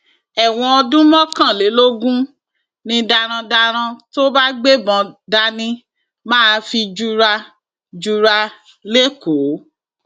ẹwọn ọdún mọkànlélógún ni darandaran tó bá gbébọn dání máa fi jura jura lẹkọọ